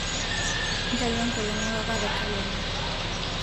ntayu enkolong e papa te kalenda